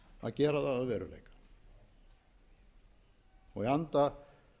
að gera það að veruleika í anda